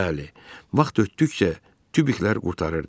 Bəli, vaxt ötdükcə tubiklər qurtarırdı.